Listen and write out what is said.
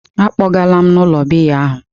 Akpọgalam m n'ụlọ biya ahụ!